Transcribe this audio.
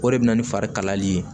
O de bɛ na ni fari kalayali ye